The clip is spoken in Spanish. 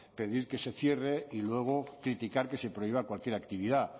pedir que se cierre y luego criticar que se prohíba cualquier actividad